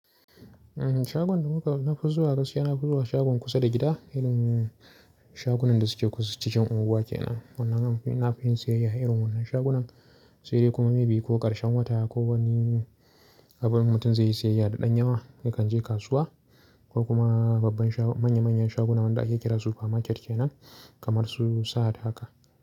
Shagon da muka nafi zuwa gaskiya, nafi zuwa shagon kusa da gida, irin shagunan da suke kusa cikin unguwa kenan. Wannan nafi yin siyayya a irin wannan shagunan, sai dai kuma maybe ko karshen wata ko wani abin mutum zai yi siyayya da ɗan yawa yakan je kasuwa ko kuma babban manya-manyan shagunan da ake kira supermarket kenan kamar su Sahad haka.